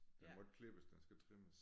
Den må ikke klippes den skal trimmes